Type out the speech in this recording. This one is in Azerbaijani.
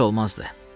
Pis olmazdı.